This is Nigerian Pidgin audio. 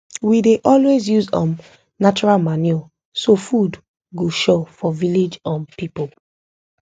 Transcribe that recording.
we dey always use um natural manure so food go sure for village um people